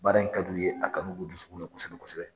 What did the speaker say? Baara in ka di u ye a kanu b'u dusukun na kosɛbɛ kosɛbɛ.